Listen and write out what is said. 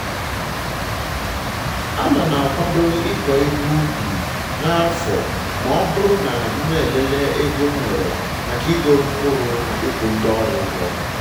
ana m akwado ịkọ ihe ubi n'afọ ma ọ bụrụ na m elele ego m nwere maka igoro mkpụrụ na ịkwụ ndi ọrụ ụgwọ